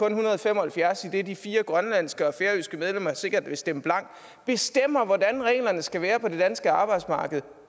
en hundrede og fem og halvfjerds idet de fire grønlandske og færøske medlemmer sikkert vil stemme blankt bestemmer hvordan reglerne skal være på det danske arbejdsmarked